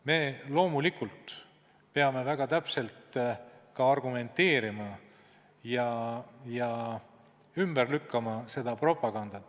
Me peame loomulikult väga täpselt ka argumenteerima ja ümber lükkama seda propagandat.